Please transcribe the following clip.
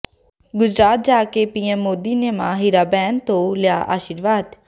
ਗੁਜਰਾਤ ਜਾ ਕੇ ਪੀਐਮ ਮੋਦੀ ਨੇ ਮਾਂ ਹੀਰਾਬੇਨ ਤੋਂ ਲਿਆ ਆਸ਼ੀਰਵਾਦ